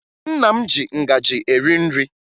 Nna m ji ngaji eri nri